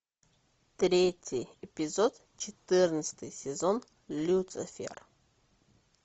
третий эпизод четырнадцатый сезон люцифер